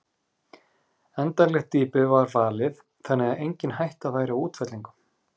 Endanlegt dýpi var valið þannig að engin hætta væri á útfellingum.